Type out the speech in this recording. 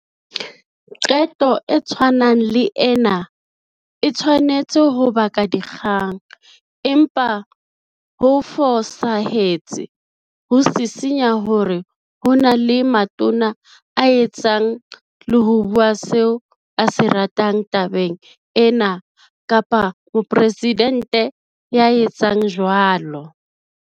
Qeto e tshwanang le ena e tshwanetse ho baka dikgang, empa ho fosahetse ho sisinya hore ho na le Matona a etsang le ho bua seo a se ratang tabeng ena kapa Moporesidente ya etsang jwalo.